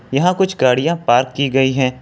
यहां कुछ गाड़ियां पार्क की गई है।